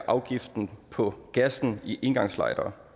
afgiften på gassen i engangslightere